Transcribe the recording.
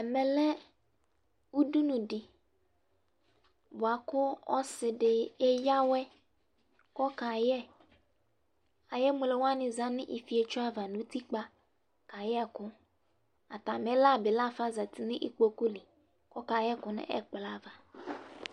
Ɛmɛlɛ ʋdʋnʋ di bʋakʋ osidi aya awɛ kʋ ɔkayɛ Ayʋ emlowani zanʋ ifetso ava nʋ utikpa kayɛ ɛkʋ, atami la bi lafa zati nʋ ikpokʋli kʋ ɔka yɛ ɛkʋ nʋ ɛkplɔ ava